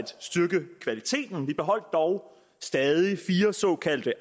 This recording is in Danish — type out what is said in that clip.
styrke kvaliteten man beholdt dog stadig fire såkaldte